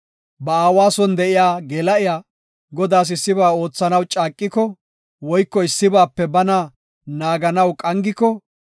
“Ba aawa son de7iya geela7iya Godaas issiba oothanaw caaqiko woyko issibaape bana naaganaw qangiko,